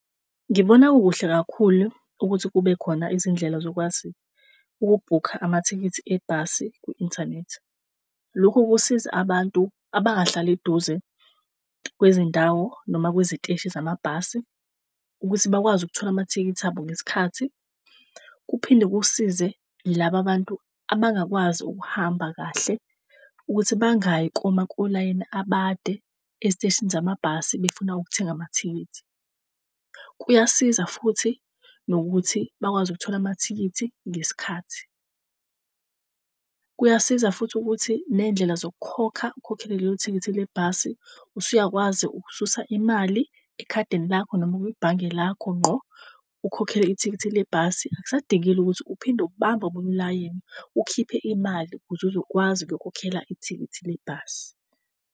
Ngibona kukuhle kakhulu ukuthi kube khona izindlela zokwazi ukubhukha amathikithi ebhasi kwi-internet. Lokhu kusiza abantu abangahlali eduze kwezindawo noma kweziteshi zamabhasi ukuthi bakwazi ukuthola amathikithi abo ngesikhathi. Kuphinde kusize laba bantu abangakwazi ukuhamba kahle ukuthi bangayi koma kolayini abade eziteshini zamabhasi befuna ukuthenga amathikithi. Kuyasiza futhi nokuthi bakwazi ukuthola amathikithi ngesikhathi kuyasiza futhi ukuthi nendlela zokukhokha, ukukhokhela lelo thikithi lebhasi, usuyakwazi ukususa imali ekhadini lakho noma kwibhange lakho ngqo, ukhokhele ithikithi lebhasi. Akusadingile ukuthi uphinde ubamba omunye ulayini ukhiphe imali ukuze uzokwazi ukuyokhokhela ithikithi lebhasi